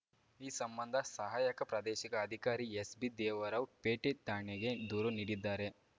ಈ ಸಂಬಂಧ ಸಹಾಯಕ ಪ್ರಾದೇಶಿಕ ಅಧಿಕಾರಿ ಎಸ್‌ಬಿದೇವರಾವ್‌ ಪೇಟೆ ಠಾಣೆಗೆ ದೂರು ನೀಡಿದ್ದಾರೆ